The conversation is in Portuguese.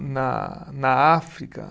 Na na África.